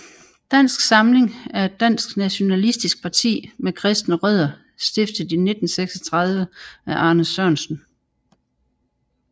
Dansk Samling er et dansk nationalistisk parti med kristne rødder stiftet i 1936 af Arne Sørensen